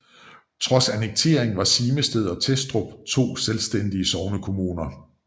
Trods annekteringen var Simested og Testrup to selvstændige sognekommuner